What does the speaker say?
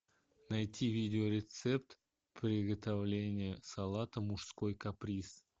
найти видео рецепт приготовления салата мужской каприз